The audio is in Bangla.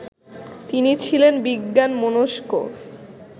তিনি ছিলেন বিজ্ঞানমনস্ক